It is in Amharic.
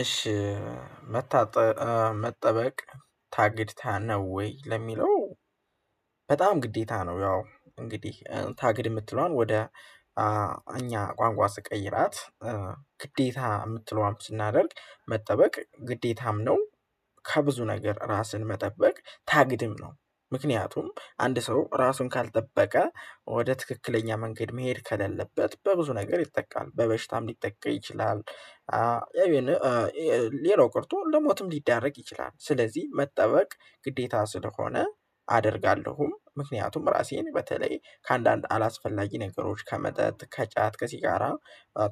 እሺ፣ መታጠ መጠበቅ ታግድታ ነው ወይ ለሚለው በጣም ግዴታ ነው። ያው እንግዲህ ታግድ የምትለዋን ወደ እኛ ቋንቋ ስቀይራት ግዴታ የምትለዋን ስናደርግ መጠበቅ ግዴታም ነው ከብዙ ነገር ራስን መጠበቅ ታግድም ነው። ምክንያቱም አንድ ሰው ራሱን ካልጠበቀ ወደ ትክክለኛ መንገድ መሄድ ከሌለበት በብዙ ነገር ይጠቃል። በበሽታም ሊጠቃ ይችላል ይሄን ሌላው ቀርቶ ለሞትም ሊዳረግ ይችላል። ስለዚህ መጠበቅ ግዴታ ስለሆነ፣ አደርጋለሁም ምክንያቱም ራሴን በተለይ ከአንዳንድ አላስፈላጊ ነገሮች ከመጠጥ፣ ከጫት ከሲጋራ